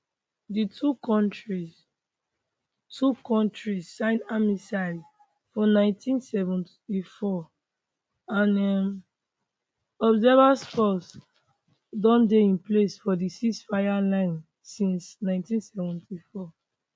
di two kontris two kontris sign armistice for 1974 and un observer force don dey in place for di ceasefire line since 1974